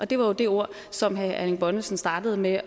det var jo det ord som herre erling bonnesen startede med